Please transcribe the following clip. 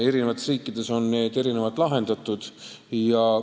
Eri riikides on need asjad erinevalt lahendatud.